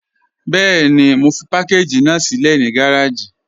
Bẹẹ̀ni, mo fi pàkàgí ná silẹ̀ ni gàràjì.